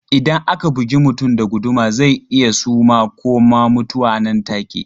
Idan aka bugi mutum da guduma zai iya suma ko ma mutuwa nan take.